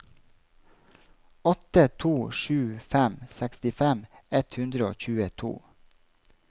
åtte to sju fem sekstifem ett hundre og tjueto